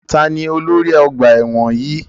Taàní ólori ọgbà ẹ̀wọ̀n yìí?